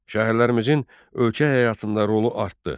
Şəhərlərimizin ölkə həyatında rolu artdı.